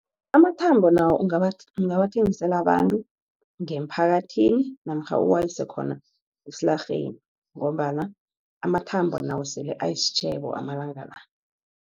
Amathambo nawo ungawathengisela abantu, ngemphakathini, namkha uwayise khona esilarheni, ngombana amathambo nawo sele ayisitjhebo amalanga la.